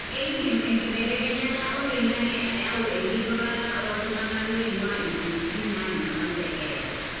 keidim enkibelekenyata oloingange ayau enkidurata oltunganaa loingua iweujitin nanyamal te keeya.